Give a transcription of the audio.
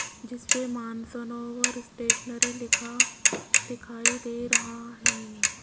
जिस पे मानसनोवर स्टेशनरी लिखा दिखाई दे रहा है।